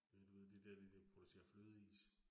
Øh du ved de der de, der producerer flødeis